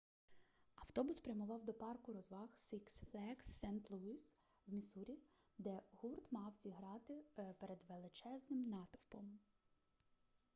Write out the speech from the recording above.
автобус прямував до парку розваг сикс флеґс сент-луїс в міссурі де гурт мав зіграти перед величезним натовпом